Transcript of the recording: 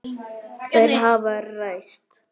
Þær hafa ræst.